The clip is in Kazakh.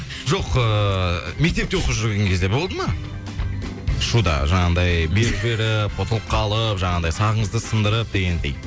жоқ ыыы мектепте оқып жүрген кезде болды ма шуда жаңағындай белгі беріп ұтылып қалып жаңағындай сағыңызды сындырып дегендей